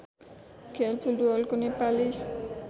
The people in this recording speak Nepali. खेल फुटबलको नेपाली